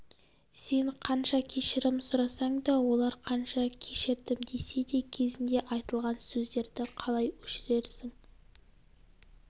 сен қанша кешірім сұрасаң да олар қанша кешірдім десе де кезінде айтылған сөздерді қалай өшірерсің